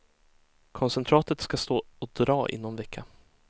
Koncentratet ska stå och dra i någon vecka.